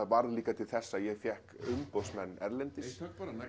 varð líka til þess að ég fékk umboðsmenn erlendis